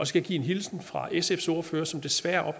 skal give en hilsen fra sfs ordfører som desværre er